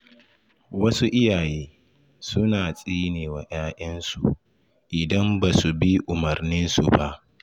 Wasu iyaye suna tsinewa ‘ya‘yansu idan ba su bi umarninsu ba.